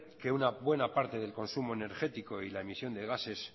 que una buena parte del consumo energético y la emisión de gases